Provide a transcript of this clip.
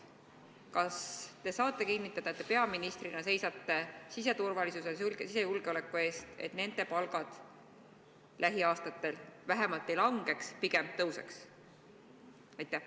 Kas te saate kinnitada, et te peaministrina seisate siseturvalisuse, sisejulgeoleku eest, selle eest, et nende inimeste palgad lähiaastatel vähemalt ei langeks ja pigem tõuseks?